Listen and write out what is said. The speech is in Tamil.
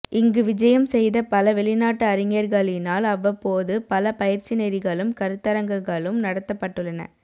இங்கு விஜயம் செய்த பல வெளிநாட்டு அறிஞர்களினால் அவ்வப்போது பல பயிற்சிநெறிகளும் கருத்தரங்குகளும் நடாத்தப்பட்டுள்ளன